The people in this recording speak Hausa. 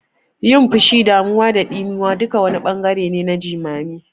Yin fushi, damuwa da ɗimuwa duka wani ɓangare ne na jimami.